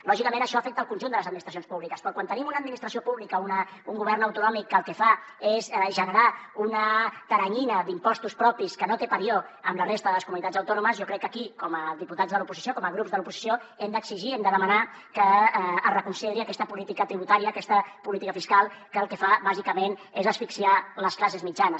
lògicament això afecta el conjunt de les administracions públiques però quan tenim una administració pública o un govern autonòmic que el que fa és generar una teranyina d’impostos propis que no té parió amb la resta de les comunitats autònomes jo crec que aquí com a diputats de l’oposició com a grups de l’oposició hem d’exigir hem de demanar que es reconsideri aquesta política tributària aquesta política fiscal que el que fa bàsicament és asfixiar les classes mitjanes